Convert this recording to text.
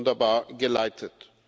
Sie haben das wunderbar geleitet.